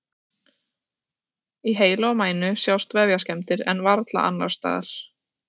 Í heila og mænu sjást vefjaskemmdir en varla annars staðar.